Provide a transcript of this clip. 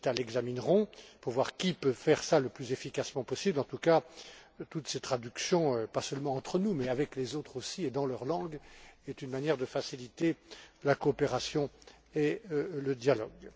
Šemeta l'examineront pour voir qui peut faire cela le plus efficacement possible En tout cas, toutes ces traductions, pas seulement entre nous mais avec les autres aussi et dans leur langue, sont une manière de faciliter la coopération et le dialogue.